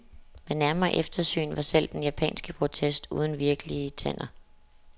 Ved nærmere eftersyn var selv den japanske protest uden virkelige tænder.